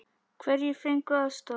Hverjir fengu aðstoð?